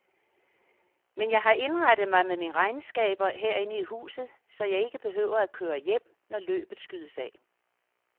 Men jeg har indrettet mig med mine regnskaber herinde i huset, så jeg ikke behøver at køre hjem, når løbet skydes af.